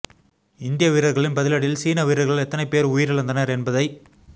இந்திய வீரர்களின் பதிலடியில் சீன வீரர்கள் எத்தனை பேர் உயிரிழந்தனர் என்பதை